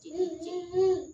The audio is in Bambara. Ci